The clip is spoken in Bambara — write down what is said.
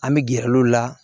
An bɛ gɛrɛ l'o la